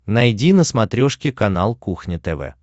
найди на смотрешке канал кухня тв